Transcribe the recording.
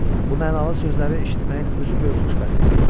Bu mənalı sözləri eşitməyin özü böyük xoşbəxtlikdir.